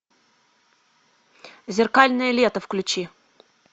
зеркальное лето включи